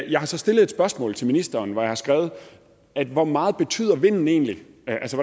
jeg har så stillet et spørgsmål til ministeren hvor jeg har skrevet hvor meget betyder vinden egentlig